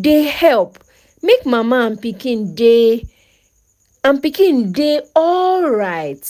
dey help make mama and pikin dey and pikin dey alright